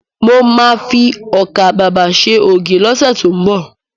Mo ma fi ọkà babà ṣe ògì lọ́sẹ̀ tó ń bọ̀